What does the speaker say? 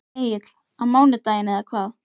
Egill: Á mánudaginn eða hvað?